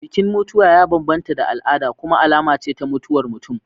Bikin mutuwa ya bambanta da al'ada kuma alama ce ta mutuwar mutum.